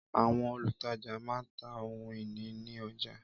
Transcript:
Àwọn olùtajà má ń ta ohun ìní ní ọjà